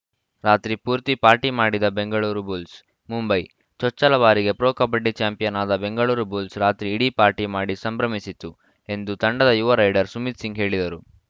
ರಾತ್ರಿ ಪೂರ್ತಿ ಪಾರ್ಟಿ ಮಾಡಿದ ಬೆಂಗಳೂರು ಬುಲ್ಸ್‌ ಮುಂಬೈ ಚೊಚ್ಚಲ ಬಾರಿಗೆ ಪ್ರೊ ಕಬಡ್ಡಿ ಚಾಂಪಿಯನ್‌ ಆದ ಬೆಂಗಳೂರು ಬುಲ್ಸ್‌ ರಾತ್ರಿ ಇಡೀ ಪಾರ್ಟಿ ಮಾಡಿ ಸಂಭ್ರಮಿಸಿತು ಎಂದು ತಂಡದ ಯುವ ರೈಡರ್‌ ಸುಮಿತ್‌ ಸಿಂಗ್‌ ಹೇಳಿದರು